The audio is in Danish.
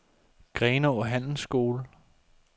Grenaa Handelsskole